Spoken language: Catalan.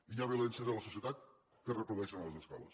i hi ha violències a la societat que es reprodueix en les escoles